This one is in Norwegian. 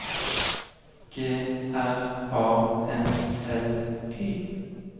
G R A N L Y